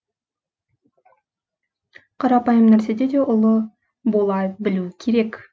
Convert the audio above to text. қарапайым нәрседе де ұлы бола білу керек